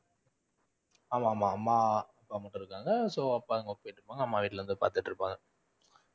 ஆமா ஆமா. அம்மா அப்பா மட்டும் இருக்காங்க so அப்பா work போயிட்டிருக்காங்க அம்மா வீட்டுல இருந்து பாத்துட்டிருக்காங்க.